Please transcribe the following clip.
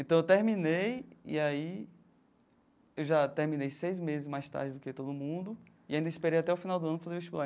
Então, eu terminei e aí eu já terminei seis meses mais tarde do que todo mundo e ainda esperei até o final do ano para fazer o vestibular.